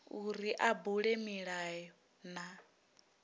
uri a bule milayo na